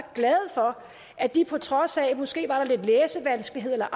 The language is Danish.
glade for at de på trods af måske lidt læsevanskeligheder eller